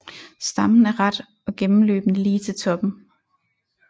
Stammen er ret og gennemløbende lige til toppen